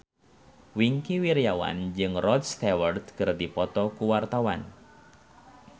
Wingky Wiryawan jeung Rod Stewart keur dipoto ku wartawan